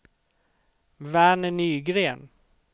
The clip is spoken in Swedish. Verner Nygren